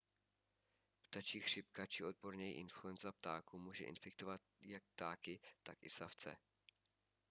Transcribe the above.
ptačí chřipka či odborněji influenza ptáků může infikovat jak ptáky tak i savce